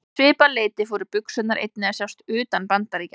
Um svipað leyti fóru buxurnar einnig að sjást utan Bandaríkjanna.